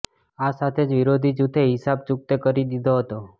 આ સાથે જ વિરોધી જૂથે હિસાબ ચૂકતે કરી દીધો હતો